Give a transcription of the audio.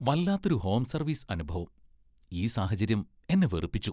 വല്ലാത്തൊരു home service അനുഭവം! ഈ സാഹചര്യം എന്നെ വെറുപ്പിച്ചു .